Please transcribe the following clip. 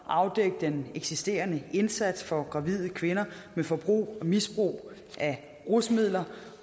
afdække den eksisterende indsats for gravide kvinder med forbrug og misbrug af rusmidler